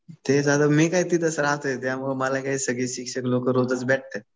ते झालं. मी काय तिथेच राहतोय. त्यामुळे मला काय सगळे शिक्षक लोकं रोजच भेटतात.